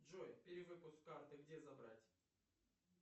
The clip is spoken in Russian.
джой перевыпуск карты где забрать